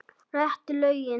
Réttu lögin.